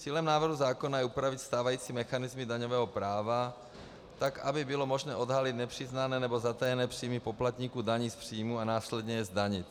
Cílem návrhu zákona je upravit stávající mechanismy daňového práva tak, aby bylo možné odhalit nepřiznané nebo zatajené příjmy poplatníků daní z příjmů a následně je zdanit.